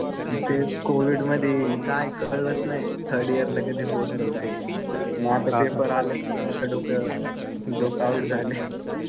तेच कोविडमध्ये काय कळलंच नाही थर्ड इयर ला कधी पोहोचलो काय. आणि आता पेपर आलेत. आता डोकं आऊट झालं.